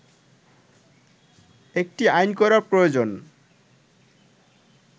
একটি আইন করা প্রয়োজন